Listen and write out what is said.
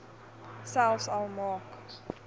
selfs al maak